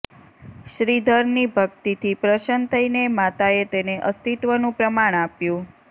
શ્રીધરની ભક્તિથી પ્રસન્ન થઈને માતાએ તેને અસ્તિત્વનું પ્રમાણ આપ્યું